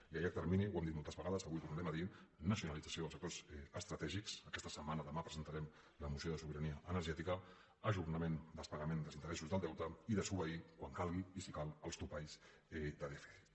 i a llarg termini ho hem dit moltes vegades avui ho tornarem a dir nacionalització dels sectors estratègics aquesta setmana demà presentarem la moció de sobirania energètica ajornament dels pagaments dels interessos del deute i desobeir quan calgui i si cal els topalls de dèficit